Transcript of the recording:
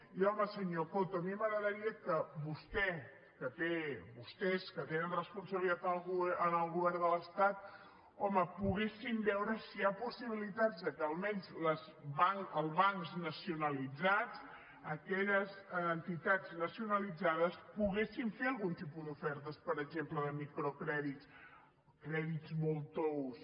i home senyor coto a mi m’agradaria que vostè vostès que tenen responsabilitat en el govern de l’estat home poguessin veure si hi ha possibilitats que almenys els bancs nacionalitzats aquelles entitats nacionalitzades poguessin fer algun tipus d’ofertes per exemple de microcrèdit crèdits molt tous